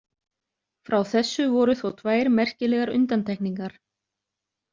Frá þessu voru þó tvær merkilegar undantekningar.